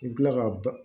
I bi kila ka ba